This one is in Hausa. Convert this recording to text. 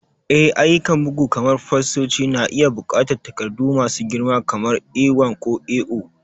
Eh, ayyukan bugu kamar fastoci na iya buƙatar takardu masu girma kamar A1 ko A0.